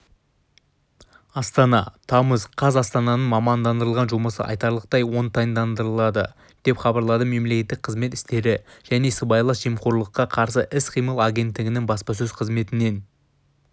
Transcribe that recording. астана тамыз қаз астананың мамандандырылған жұмысы айтарлықтай оңтайландырылды деп хабарлады мемлекеттік қызмет істері және сыбайлас жемқорлыққа қарсы іс-қимыл агенттігінің баспасөз қызметінен